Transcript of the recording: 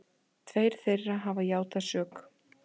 Tveir þeirra hafa játað sök